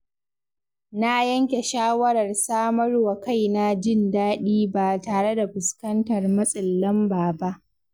Na yanke shawarar samarwa kaina jin daɗi ba tare da fuskantar matsin lamba ba.